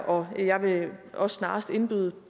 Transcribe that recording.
og jeg vil også snarest indbyde